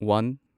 one